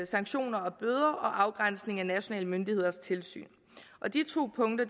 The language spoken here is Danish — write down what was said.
sanktioner og bøder og afgrænsning af nationale myndigheders tilsyn og de to punkter